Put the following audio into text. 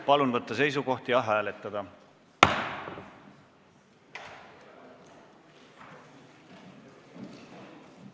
Palun võtta seisukoht ja hääletada!